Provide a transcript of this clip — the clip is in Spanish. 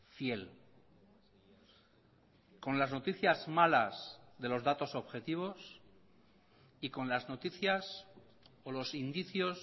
fiel con las noticias malas de los datos objetivos y con las noticias o los indicios